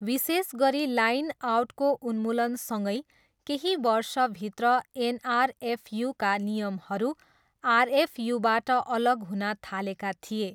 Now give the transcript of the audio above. विशेष गरी लाइन आउटको उन्मूलनसँगै केही वर्षभित्र एनआरएफयूका नियमहरू आरएफयूबाट अलग हुन थालेका थिए।